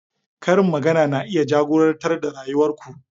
Karin magana na iya jagorantar rayuwar ku.